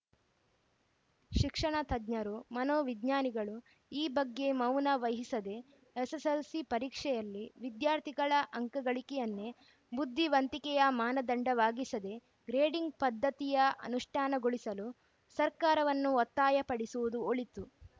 ಶಿಕ್ಷಣತಜ್ಞರು ಮನೋವಿಜ್ಞಾನಿಗಳು ಈ ಬಗ್ಗೆ ಮೌನವಹಿಸದೆ ಎಸ್‌ಎಸ್‌ಎಲ್‌ಸಿ ಪರೀಕ್ಷೆಯಲ್ಲಿ ವಿದ್ಯಾರ್ಥಿಗಳ ಅಂಕಗಳಿಕೆಯನ್ನೇ ಬುದ್ಧಿವಂತಿಕೆಯ ಮಾನದಂಡವಾಗಿಸದೆ ಗ್ರೇಡಿಂಗ್‌ ಪದ್ಧತಿಯ ಅನುಷ್ಠಾನಗೊಳಿಸಲು ಸರ್ಕಾರವನ್ನು ಒತ್ತಾಯಪಡಿಸುವುದು ಒಳಿತು